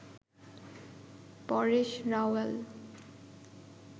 Paresh Rawal